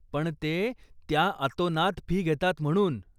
पण ते, त्या अतोनात फी घेतात म्हणून.